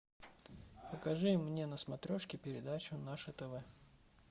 покажи мне на смотрешке передачу наше тв